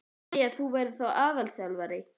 Má segja að þú verðir þá aðalþjálfari?